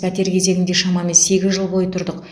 пәтер кезегінде шамамен сегіз жыл бойы тұрдық